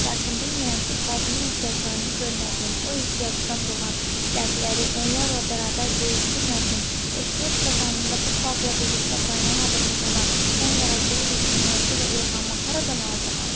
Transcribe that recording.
Lakin bilmirəm ki, xalqımın ehtiyaclarını görmədiyim, o ehtiyacdan doğan dərdləri onlarla bərabər bölüşdürmədiyim, ehtiyac qazanında bu xalqla birlikdə qaynamadığım zaman mən yaradıcılıq üçün mövzu və ilhamı haradan alacağam?